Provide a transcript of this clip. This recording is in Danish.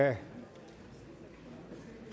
der